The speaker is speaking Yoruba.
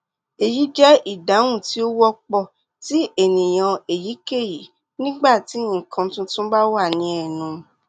eyi jẹ idahun ti o wọpọ ti eniyan eyikeyi nigbati nkan tuntun ba wa ni ẹnu